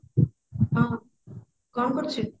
ହଁ କଣ କରୁଛୁ